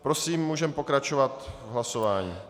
Prosím, můžeme pokračovat v hlasování.